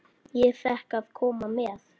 Ég fékk að koma með.